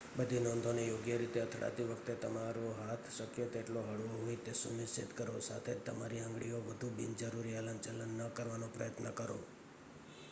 બધી નોંધોને યોગ્ય રીતે અથડાતી વખતે તમારો હાથ શક્ય તેટલો હળવો હોય તે સુનિશ્ચિત કરો સાથે જ તમારી આંગળીઓથી વધુ બિનજરૂરી હલનચલન ન કરવાનો પ્રયત્ન કરો